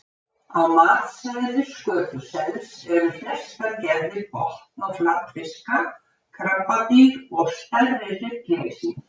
Á matseðli skötusels eru flestar gerðir botn- og flatfiska, krabbadýr og stærri hryggleysingjar.